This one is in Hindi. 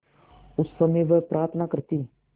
उस समय वह प्रार्थना करती